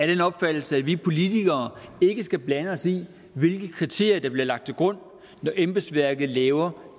den opfattelse at vi politikere ikke skal blande os i hvilke kriterier der bliver lagt til grund når embedsværket laver